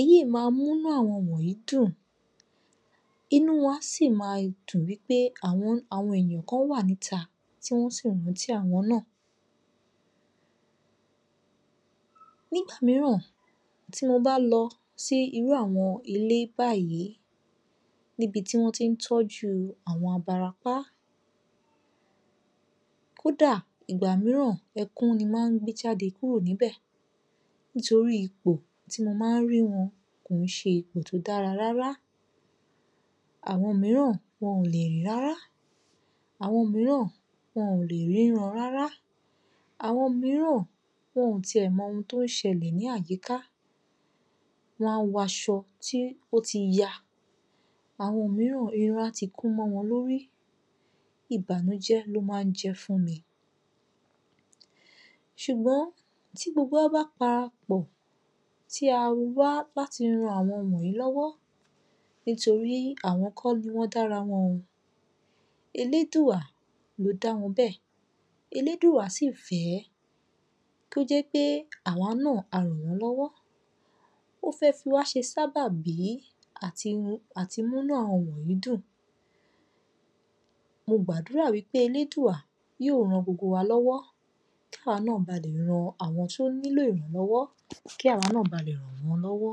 Èyí ma mú inú àwọn wọnyìí dùn, inú wọn á sì máa dùn wí pé àwọn àwọn èèyàn kan wà níta tí wọ́n sì rántí àwọn náà. Nígbà mìíràn tí mo bá lọ sí irú àwọn ilé báyìí, níbi tí wọ́n tí ń tọ́jú àwọn abarapá, kódà ìgbà mìíràn ẹkún ni mo máa ń gbé jáde kúrò níbẹ̀ nítorí ipò tí mo máa ń ri wọn kò ń ṣe ipò tó dára rárá. Àwọn mìíràn, wọn ò lè rìn rárá, àwọn mìíràn wọn ò lè ríran rárá, àwọn mìíràn wọn ti ẹ̀ mọ ohun tó ń ṣẹlẹ̀ ní àyíká. Wọ́n á waṣọ tí ó ti ya. Àwọn mìíràn irun á ti kún mọ́ wọn lórí. Ìbànújẹ́ ló máa ń jẹ́ fun mi. Ṣùgbọ́n tí gbogbo wa bá parapọ̀ tí a wá láti ran àwọn wọnyìí lọ́wọ́ nítorí àwọn kọ́ ni wọ́n dára wọn, Elédùà ló dá wọn bẹ́ẹ̀. Elédùà sì fẹ̀ẹ́ kó jẹ́ pé àwa náà a ràn wọ́n lọ́wọ́. Ó fẹ́ fi wá ṣe sábàbí àti um àti múnú àwọn wọnyìí dùn. Mo gbàdúrà wí pé Elédùà yóò ran gbogbo wa lọ́wọ́ ká wa náà ba lè ran àwọn tí ó nílò ìrànlọ́wọ́ kí àwa náà ba lè ràn wọ́n lọ́wọ́.